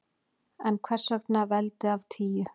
En hvers vegna veldi af tíu?